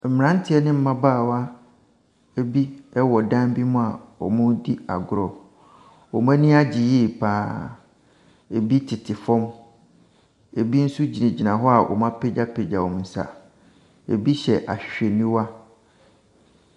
Mmranteɛ ne mmabaawa bi wɔ dan bi mu a wɔredi agorɔ. Wɔn ani agye yie pa ara. Ebi tete fam. Ebi nso gyinagyina hɔ a wɔapegya wɔn nsa. Ebi hyɛ ahwehwɛniwa.